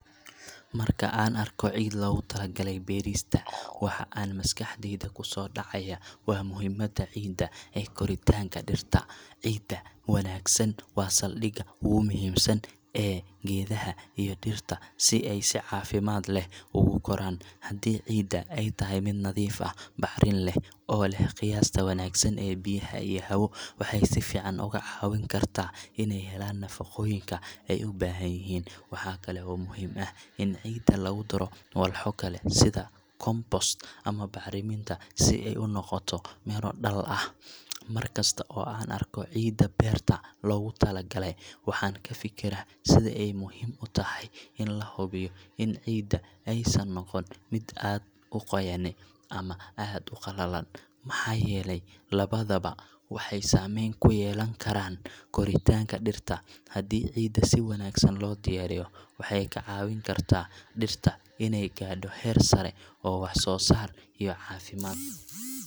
Marka an arko cid logu talo galay berista waxa maskaxdeyda kusodacaya ,muhimada ciida .Cida waangsan waa saldiga ugu wanagsan ee gedaha dhirts, si ay cafimad ogu koran. Waxa kale oo muhim ah ini cida lagu daro sidha compost bacriminta si ay miro dhal ah maar kasto aan arko cida berta ,logu tala galay waxan kafikira sidha ay muhim u tahay in cida aysan noqonin mid aad u qoyan ama aad u qalalan, maxa yele labaduba maxey sameyn kuyelan koritanka dhirta hadi cida si waangsan loo diyariyo waxey ka cawin karta dhirta iney garto heer sare oo wax so saar iyo cafimaad leh.